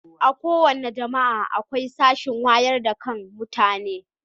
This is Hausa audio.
A kowace jami'a akwai sashen wayar da kan mutane.